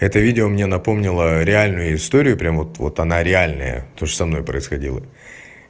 это видео мне напомнила реальную историю прямо вот вот она реальная тоже со мной происходила